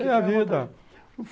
Tem a vida.